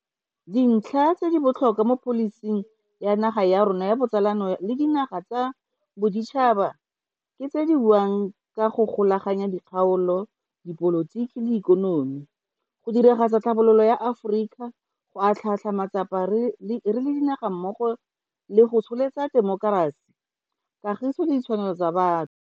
Dintlha tse di botlhokwa mo pholising ya naga ya rona ya botsalano le dinaga tsa boditšhaba ke tse di buang ka go golaganya dikgaolo, dipolotiki le ikonomi, go diragatsa tlhabololo ya Aforika, go atlhaatlhaa matsapa re le dinaga mmogo le go tsholetsa temokerasi, kagiso le ditshwanelo tsa batho.